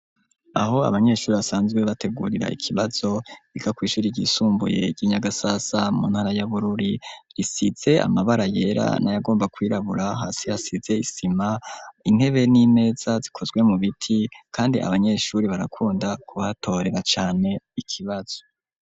Aho abanyeshuri basanzwe bategurira ikibazo biga kw'ishuri ryisumbuye ry'i Nyagasasa mu ntara ya Bururi, risize amabara yera n'ayagomba kwirabura, hasi hasize isima, intebe n'imeza zikozwe mu biti kandi abanyeshuri barakunda kuhatorera cane ikibazo.